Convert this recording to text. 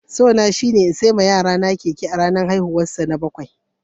So na shine in sayi ma yaro na keke a ranan haihuwan sa na bakwai.